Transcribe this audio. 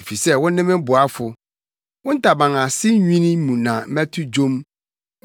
Efisɛ wone me boafo, wo ntaban ase nwini mu na mɛto dwom.